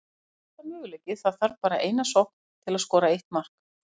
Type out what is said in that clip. Það er alltaf möguleiki, það þarf bara eina sókn til að skora eitt mark.